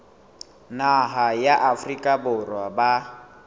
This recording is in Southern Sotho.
naha ya afrika borwa ba